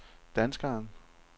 danskeren